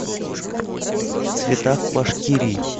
в цветах башкирии